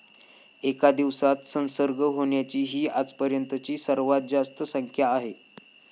एका दिवसात संसर्ग होण्याची ही आजपर्यंतची सर्वात जास्त संख्या आहे.